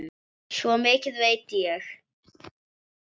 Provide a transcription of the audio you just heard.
Svo mikið veit ég.